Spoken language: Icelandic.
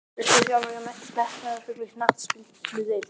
Viltu þjálfa hjá metnaðarfullri knattspyrnudeild?